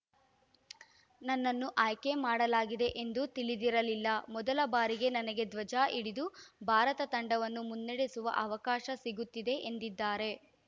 ನನ್ನನ್ನು ಆಯ್ಕೆ ಮಾಡಲಾಗಿದೆ ಎಂದು ತಿಳಿದಿರಲಿಲ್ಲ ಮೊದಲ ಬಾರಿಗೆ ನನಗೆ ಧ್ವಜ ಹಿಡಿದು ಭಾರತ ತಂಡವನ್ನು ಮುನ್ನಡೆಸುವ ಅವಕಾಶ ಸಿಗುತ್ತಿದೆ ಎಂದಿದ್ದಾರೆ